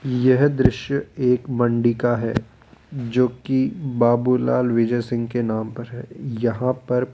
यह दृश्य एक मंडी का है जोकि बाबूलाल विजय सिंह के नाम पर है यहां पर --